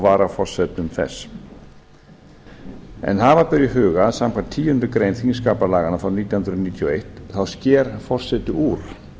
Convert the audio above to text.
varaforsetum þess hafa ber í huga að samkvæmt tíundu greinar þingskapalaganna frá nítján hundruð níutíu og eitt sker forseti úr